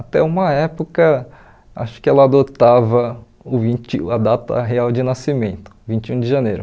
Até uma época, acho que ela adotava o vinte e a data real de nascimento, vinte e um de janeiro.